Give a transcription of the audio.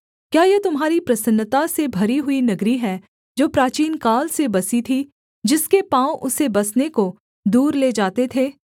क्या यह तुम्हारी प्रसन्नता से भरी हुई नगरी है जो प्राचीनकाल से बसी थी जिसके पाँव उसे बसने को दूर ले जाते थे